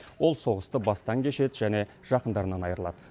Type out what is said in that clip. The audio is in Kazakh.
ол соғысты бастан кешеді және жақындарынан айырылады